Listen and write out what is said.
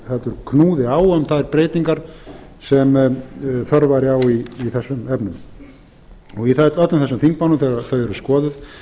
heldur knúði á um þær breytingar sem þörf væri á í þessum efnum í öllum þessum þingmálum þegar þau eru skoðuð